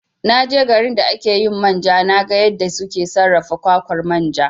Na je garin da ake yin manja na ga yadda suke sarrafa kwakwar manja